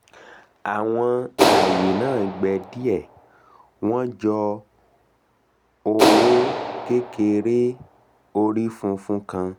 àwọn aye naa gbẹ die wọ́n jọ oowo kekere orí funfun kan